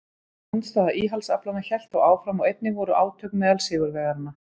Andstaða íhaldsaflanna hélt þó áfram og einnig voru átök meðal sigurvegaranna.